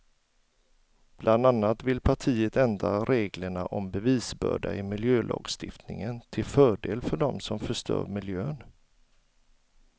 Bland annat vill partiet ändra reglerna om bevisbörda i miljölagstiftningen till fördel för dem som förstör miljön.